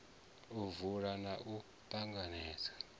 u vula na u ṱanganedza